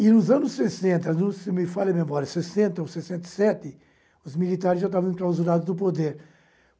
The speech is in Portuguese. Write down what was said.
E nos anos sessenta, se não me falha a memória sessenta ou sessenta e sete, os militares já estavam enclausurados no poder.